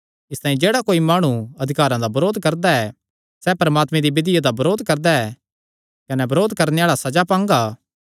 इसतांई जेह्ड़ा कोई माणु अधिकार दा बरोध करदा ऐ सैह़ परमात्मे दी विधिया दा बरोध करदा ऐ कने बरोध करणे आल़ा सज़ा पांगा